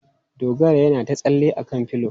Dogara yana ta tsalle a kan pilo.